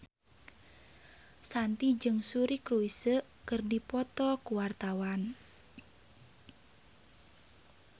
Shanti jeung Suri Cruise keur dipoto ku wartawan